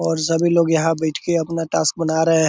और सभी लोग यहाँ बैठ के अपना टास्क बना रहे।